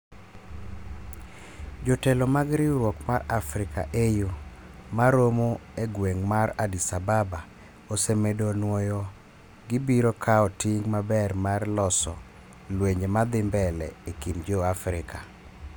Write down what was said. jotelo mag riwruok mar Africa (AU) ma romo e gweng' mar Addis Ababa ose medo nwoyo gibiro kao ting maber mar loso lwenje ma dhi mbele e kind jo-Afrika